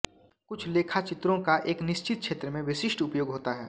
कुछ लेखाचित्रों का एक निश्चित क्षेत्र में विशिष्ट उपयोग होता है